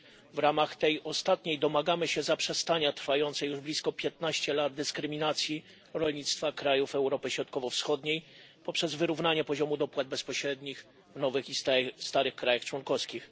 W ramach tej ostatniej domagamy się zaprzestania trwającej od blisko 15 lat dyskryminacji rolnictwa krajów Europy Środkowo Wschodniej i wyrównania poziomu dopłat bezpośrednich w nowych i starych państwach członkowskich.